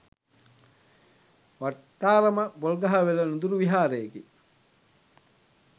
වට්ටාරම පොල්ගහවෙල නුදුරු විහාරයකි.